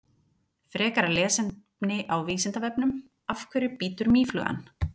Frekara lesefni á Vísindavefnum: Af hverju bítur mýflugan?